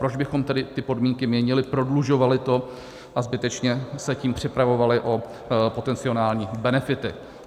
Proč bychom tedy ty podmínky měnili, prodlužovali to a zbytečně se tím připravovali o potenciální benefity?